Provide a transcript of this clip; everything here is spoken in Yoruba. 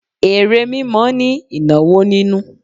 Ère mímọ ni ìnáwó nínú.